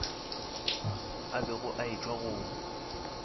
a bego a etšwa go